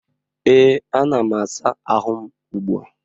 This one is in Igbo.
ee, ana m asa ahụ m ugbu a